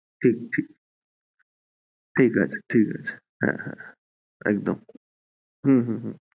ঠিকআছে ঠিকআছে ঠিকআছে হ্যাঁ হ্যাঁ হ্যাঁ একদম হম হম হম